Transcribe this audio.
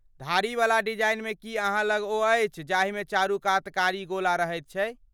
धारीवला डिजाइनमे की अहाँ लग ओ अछि जाहिमे चारूकात कारी गोला रहैत छै?